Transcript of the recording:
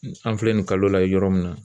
An filɛ nin kalo la yɔrɔ min na.